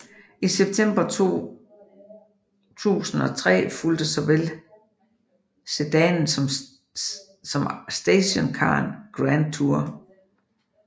I september 2003 fulgte såvel sedanen som stationcaren Grandtour